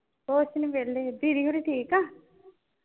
ਹੋਰ ਅਸੀਂ ਵੀ ਵਿਹਲੇ, ਦੀਦੀ ਹੁਣੀ ਠੀਕ ਆ?